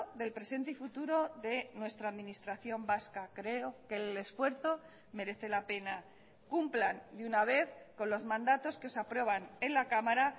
del presente y futuro de nuestra administración vasca creo que el esfuerzo merece la pena cumplan de una vez con los mandatos que se aprueban en la cámara